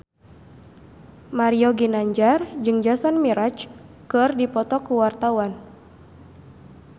Mario Ginanjar jeung Jason Mraz keur dipoto ku wartawan